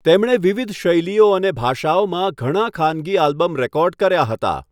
તેમણે વિવિધ શૈલીઓ અને ભાષાઓમાં ઘણા ખાનગી આલ્બમ રેકોર્ડ કર્યા હતા.